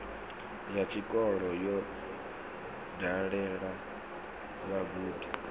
ya tshikolo yo dalela vhagudi